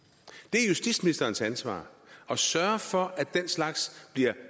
er justitsministerens ansvar at sørge for at den slags